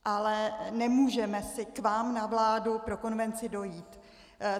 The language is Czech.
Ale nemůžeme si k vám na vládu pro konvenci dojít.